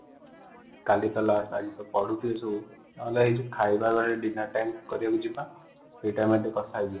କଲି ତ last final ନହେ ଏ ଯୋଉ ଖାଇବା ବେଳେ ଡିନର କରିବାକୁ ଯିବା ସେ ଟାଇମ ରେ ଟିକେ କଥା ହେଇଯିବା |